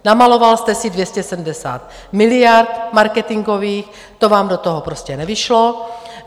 Namaloval jste si 270 miliard marketingových, to vám do toho prostě nevyšlo.